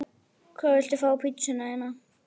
Fjörgynjar bur neppur frá naðri níðs ókvíðinn.